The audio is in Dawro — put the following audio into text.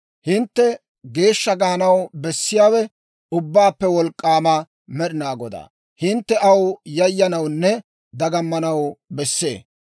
Hintte geeshsha gaanaw bessiyaawe Ubbaappe Wolk'k'aama Med'inaa Godaa; hintte aw yayyanawunne dagammanaw besse.